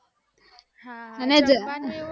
હા અને